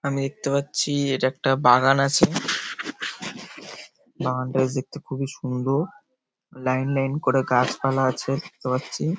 আমি দেখতে পাচ্ছি-ই এটা একটা বাগান আছে । বাগানটা দেখতে খুবই সুন্দর লাইন লাইন করে গাছপালা আছে দেখতে পাচ্ছি ।